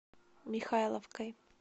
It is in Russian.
михайловкой